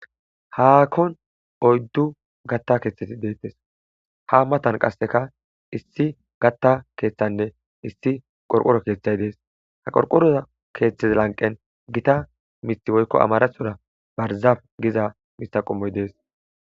Hakonni oyiddu gata keththati de'etees.haa matanni qasekka issi gata keththanne issi qoriqoro keththayi de'ees .haa qoriqoroza keththaza laniqenn Gita miththi woyikko amaraththoro bahirizaff miththa qommoyi de'ees.